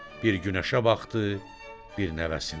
Bir günəşə baxdı, bir nəvəsinə.